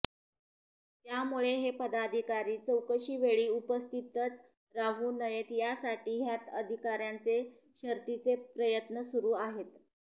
त्यामुळे हे पदाधिकारी चौकशीवेळी उपस्थितच राहू नयेत यासाठी ह्यत्याह्ण अधिकाऱ्यांचे शर्थीचे प्रयत्न सुरू आहेत